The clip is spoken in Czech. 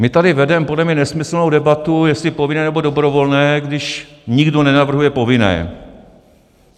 My tady vedeme podle mě nesmyslnou debatu, jestli povinné, nebo dobrovolné, když nikdo nenavrhuje povinné.